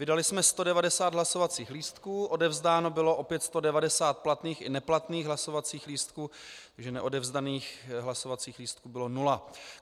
Vydali jsme 190 hlasovacích lístků, odevzdáno bylo opět 190 platných i neplatných hlasovacích lístků, takže neodevzdaných hlasovacích lístků bylo nula.